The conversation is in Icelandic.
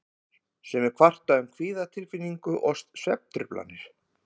Sumir kvarta um kvíðatilfinningu og svefntruflanir.